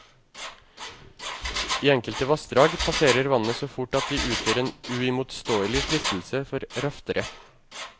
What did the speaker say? I enkelte vassdrag passerer vannet så fort at de utgjør en uimotståelig fristelse for raftere.